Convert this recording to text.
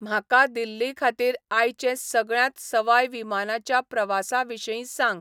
म्हाका दिल्लीखातीर आयचे सगळ्यांत सवाय विमानाच्या प्रवासांविशीं सांग